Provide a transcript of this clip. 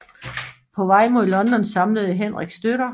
På vej mod London samlede Henrik støtter